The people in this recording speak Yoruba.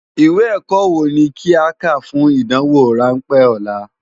Iwé èkò wó ni ki á ká fún ádánwó ránpè òlá?